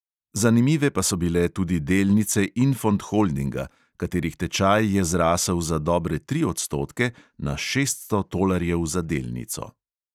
Zanimive pa so bile tudi delnice infond holdinga, katerih tečaj je zrasel za dobre tri odstotke na šeststo tolarjev za delnico.